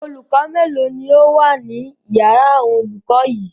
Olùkọ́ mélòó ni ó wà ní ìyàrá àwọn olùkọ́ yìí?